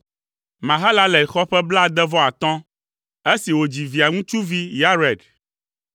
Mahalalel xɔ ƒe blaade-vɔ-atɔ̃ esi wòdzi Via ŋutsuvi Yared.